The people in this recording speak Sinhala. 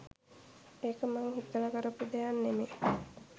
ඒක මං හිතලා කරපු දෙයක් නෙමේ.